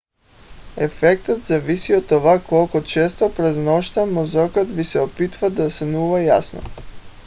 ефектът зависи от това колко често през нощта мозъкът ви се опитва да сънува ясно